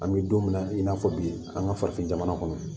An bɛ don min na i n'a fɔ bi an ka farafin jamana kɔnɔ